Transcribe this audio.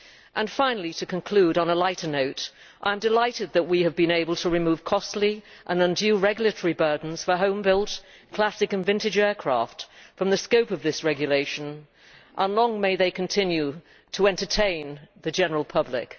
And finally, to conclude on a lighter note, I am delighted that we have been able to remove costly and undue regulatory burdens for home built, classic and vintage aircraft from the scope of this regulation and long may they continue to entertain the general public.